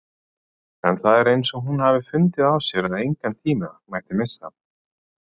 En það er eins og hún hafi fundið á sér að engan tíma mætti missa.